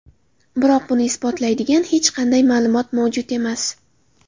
Biroq buni isbotlaydigan hech qanday ma’lumot mavjud emas.